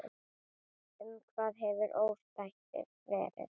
Um hvað hefur ósættið verið?